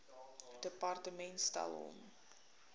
departement stel hom